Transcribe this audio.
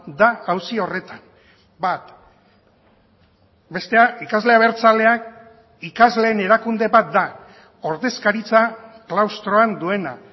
da auzi horretan bat bestea ikasle abertzaleak ikasleen erakunde bat da ordezkaritza klaustroan duena